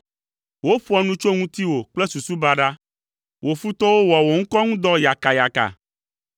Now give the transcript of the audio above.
Woƒoa nu tso ŋutiwò kple susu baɖa, wò futɔwo wɔa wò ŋkɔ ŋu dɔ yakayaka.